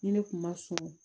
Ni ne kun ma surun